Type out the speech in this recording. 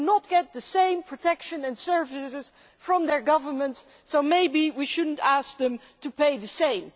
They do not get the same protection and services from their governments, so perhaps we should not ask them to pay the same.